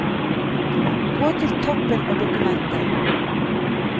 Gå til toppen av dokumentet